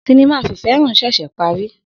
Sinima fifehan ṣẹṣẹ pari.